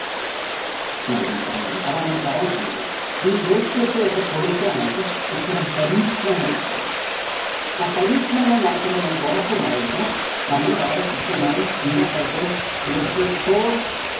ന്നാണ് ഞാന്‍ പറഞ്ഞു വന്നത്, അതാണ് ഞാന്‍ പറയാന്‍ ശ്രമിച്ചത്‌. ഈ ജോത്സ്യത്തെ ഒക്കെ പൊളിക്കാനായിട്ട് ഇത്തരം പരീക്ഷണങ്ങള്‍ നടത്തണം. ആ പരീക്ഷണങ്ങള്‍ നടത്തുമ്പോള്‍ നമുക്കൊറപ്പുണ്ടായിരിക്കണം നമ്മള് വളരെ കൃത്യമായി എല്ലാത്തരത്തിലും ഇവര്‍ക്ക് frauds